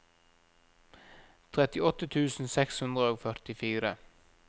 trettiåtte tusen seks hundre og førtifire